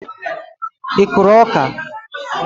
I kụrụ ọka?